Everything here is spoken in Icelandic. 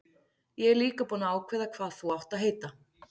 Ég er líka búinn að ákveða hvað þú átt að heita.